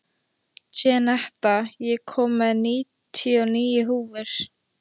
Jenetta, ég kom með níutíu og níu húfur!